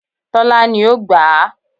Tólá ni ó gbà á